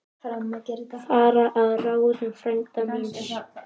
Fara að ráðum frænda míns.